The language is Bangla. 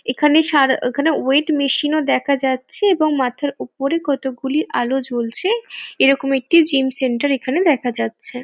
এখানে সার ওখানে ওয়েইট মেশিন ও দেখা যাচ্ছে এবং মাথার ওপরে কতকগুলি আলো জ্বলছে এরকম একটি জিম সেন্টার এখানে দেখা যাচ্ছে ।